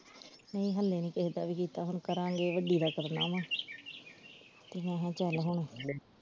ਨਹੀਂ ਹੱਲੇ ਨਹੀਂ ਕਿਸੇ ਦਾ ਵੀ ਕੀਤਾ ਹੁਣ ਕਰਾਂਗੇ ਵੱਡੀ ਦਾ ਕਰਨਾ ਵਾ ਮੈਂ ਕਿਹਾ ਚਲ ਹੁਣ।